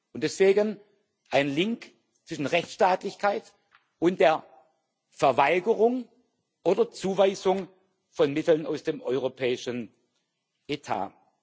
Und deswegen ein Link zwischen Rechtsstaatlichkeit und der Verweigerung oder Zuweisung von Mitteln aus dem europäischen Etat.